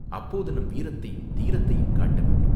அப்போது நம் வீரத்தையும், தீரத்தையும் காட்ட வேண்டும்.